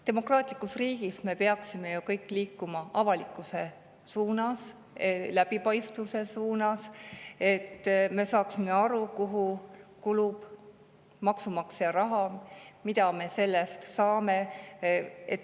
Demokraatlikus riigis me peaksime ju kõik liikuma avalikustamise suunas, läbipaistvuse suunas, et me saaksime aru, kuhu kulub maksumaksja raha ja mida me selle eest saame.